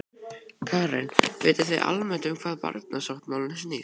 Karen: Vitið þið almennt um hvað barnasáttmálinn snýst?